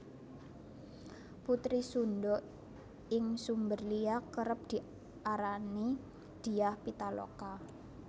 Putri Sundha ing sumber liya kerep diarani Dyah Pitaloka